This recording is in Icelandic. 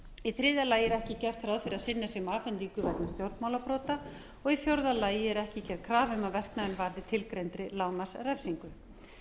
í þriðja lagi er ekki gert ráð fyrir að synjað sé um afhendingu vegna stjórnmálabrota og í fjórða lagi er ekki gerð krafa um að verknaðurinn varði tilgreindri lágmarksrefsingu